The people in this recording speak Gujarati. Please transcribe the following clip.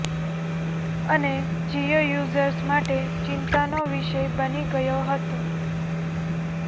અને જીઓ યુઝર્સ માટે ચિતા નો વિષય બની ગયો હતો